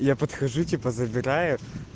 я подхожу типа забираю